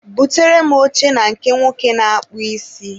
Butere m oche na nke nwoke na-akpụ isi.